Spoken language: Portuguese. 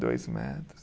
Dois metros.